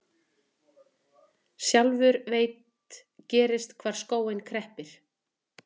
Sjálfur veit gerst hvar skórinn kreppir.